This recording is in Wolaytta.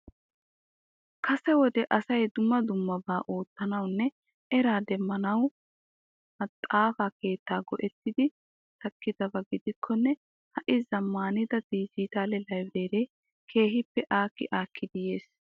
Kasee wode asay dumma dummaba oottanawunne era demmanawu maxafa keetta go'ettidi takidaba gidikkonne ha'i zammanida dijitale librere kehippe akki akkidi yisi.